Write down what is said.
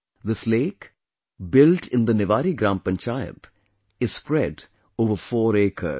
This lake, built in the Niwari Gram Panchayat, is spread over 4 acres